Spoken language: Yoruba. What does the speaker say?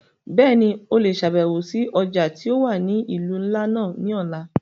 Bẹ́ẹ̀ni, o le ṣabẹwo si ọja ti o wa ni ilu nla náa ni ọla.